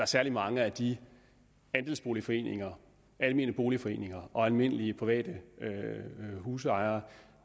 særlig mange af de andelsboligforeninger almene boligforeninger og almindelige private husejere